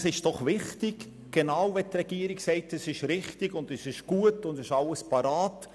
Es ist wichtig, zu starten, vor allem weil auch die Regierung der Meinung ist, dass die Massnahmen richtig, gut und bereit sind.